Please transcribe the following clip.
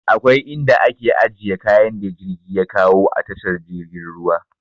Akwai inda ake ajiye kayan da jirgi ya kawo a tashar jirgin ruwa.